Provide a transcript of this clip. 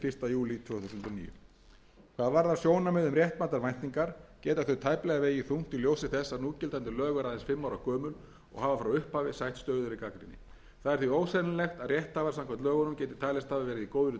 níu hvað varðar sjónarmið um réttmætar væntingar geta þau tæplega vegið þungt í ljósi þess að núgildandi lög eru aðeins fimm ára gömul og hafa frá upphafi sætt stöðugri gagnrýni það er því ósennilegt að rétthafar samkvæmt lögunum geti talist hafa verið í góðri